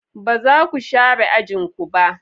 Ba za ku share ajin ku ba?